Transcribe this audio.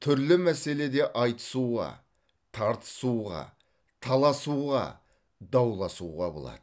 түрлі мәселеде айтысуға тартысуға таласуға дауласуға болады